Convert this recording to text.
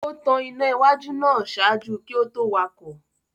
O tan ìnà iwájú náà ṣaaju kí o to wakọ